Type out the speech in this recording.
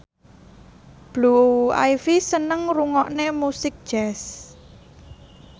Blue Ivy seneng ngrungokne musik jazz